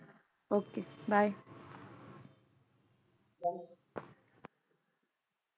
Okay bye